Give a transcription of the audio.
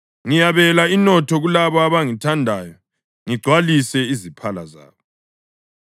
ngiyabela inotho kulabo abangithandayo ngigcwalise iziphala zabo.